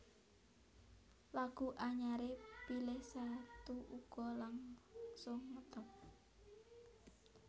Lagu anyaré Pilih Satu uga langsung ngetop